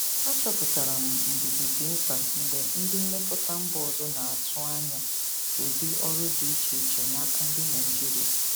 Achọpụtara m ndidi dị mkpa mgbe ndị nlekọta mba ọzọ na-atụ anya ụdị ọrụ dị iche iche n'aka ndị Naijiria.